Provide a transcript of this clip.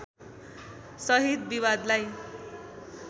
सहित विवादलाई